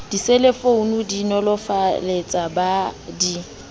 diselefounu di nolofaletsa ba di